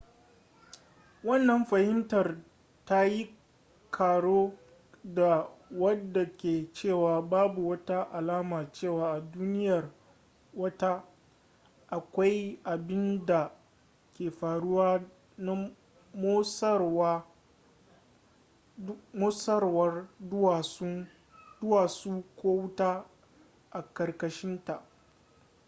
wannan fahimtar ta yi karo da wadda ke cewa babu wata alama cewa a duniyar wata akwai abinda ke faruwa na motsawar duwatsu ko wuta a karkashinta